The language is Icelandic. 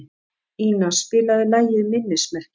Ina, spilaðu lagið „Minnismerki“.